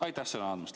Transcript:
Aitäh sõna andmast!